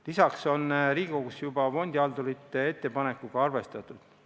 Lisaks on Riigikogus juba fondihaldurite ettepanekuga arvestatud.